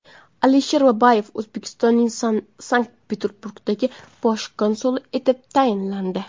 Alisher Babayev O‘zbekistonning Sankt-Peterburgdagi bosh konsuli etib tayinlandi.